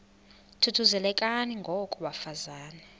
thuthuzelekani ngoko bafazana